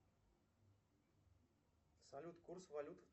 салют курс валют